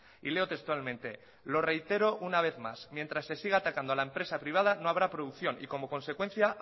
y leo textualmente lo reitero una vez más mientras se siga atacando a la empresa privada no habrá producción y como consecuencia